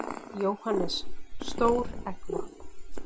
Jóhannes: Stór eggvopn?